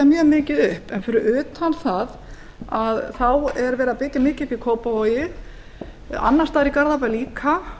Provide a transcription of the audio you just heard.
mjög mikið upp en fyrir utan það að þá er verið að byggja mikið upp í kópavogi annars staðar í garðabæ líka